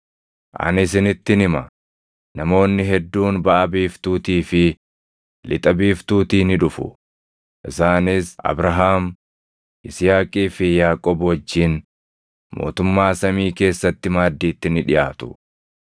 Ani isinittin hima; namoonni hedduun baʼa biiftuutii fi lixa biiftuutii ni dhufu; isaanis Abrahaam, Yisihaaqii fi Yaaqoob wajjin mootummaa samii keessatti maaddiitti ni dhiʼaatu.